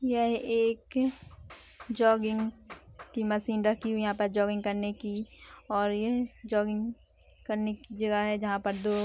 यह एक जॉगिंग की मशीन रखी हुई है यहां पर जोगिंग करने की और यह जोटिंग करने की जगह है जहां पर तो --